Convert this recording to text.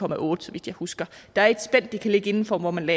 en otte så vidt jeg husker der er et spænd det kan ligge inden for hvor man